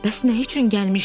Bəs nə üçün gəlmişdin?